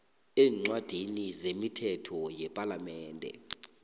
eencwadini zemithetho yepalamende